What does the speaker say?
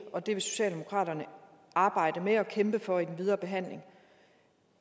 at det vil socialdemokratiet arbejde med og kæmpe for i den videre behandling